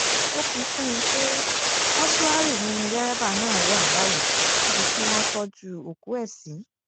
ó fi kún un pé mọ́ṣúárì ni dẹ́rẹ́bà náà wà báyìí níbi tí wọ́n tọ́jú òkú ẹ̀ sí